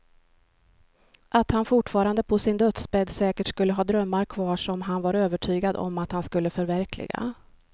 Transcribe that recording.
Att han fortfarande på sin dödsbädd säkert skulle ha drömmar kvar som han var övertygad om att han skulle förverkliga.